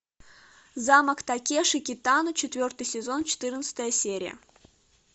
замок такеши китано четвертый сезон четырнадцатая серия